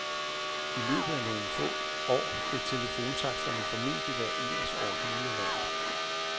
I løbet af nogle få år vil telefontaksterne formentlig være ens over hele landet.